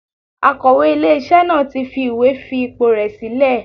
Akọ̀wé ilé iṣẹ́ náà tí fi ìwé fi ipò rè sílẹ̀.